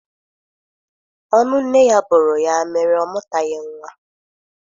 Ọnụ nne ya bụrụ ya mere ọ mụtaghị nwa.